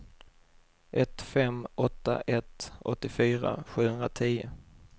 ett fem åtta ett åttiofyra sjuhundratio